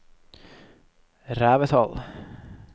Revetal